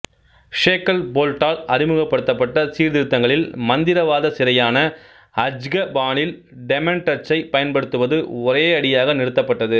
ஷேக்கல்போல்ட்டால் அறிமுகப்படுத்தப்பட்ட சீர்திருத்தங்களில் மந்திரவாத சிறையான அஜ்கபானில் டெமென்டர்சை பயன்படுத்துவது ஒரேயடியாக நிறுத்தப்பட்டது